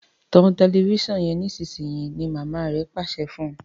tan Tẹlifíṣàn yen nísìsiyìí! ní mama rẹ Pàṣẹ fún.